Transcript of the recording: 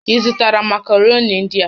Ị zụtara makaroni ndị a?